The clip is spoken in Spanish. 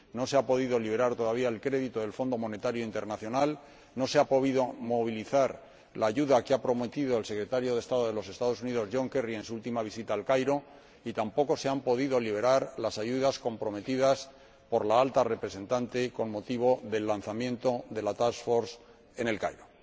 No se ha podido liberar todavía el crédito del Fondo Monetario Internacional, no se ha podido movilizar la ayuda que ha prometido el Secretario de Estado de los Estados Unidos, John Kerry, en su última visita a El Cairo y tampoco se han podido liberar las ayudas comprometidas por la Alta Representante con motivo del lanzamiento de la task force en El Cairo.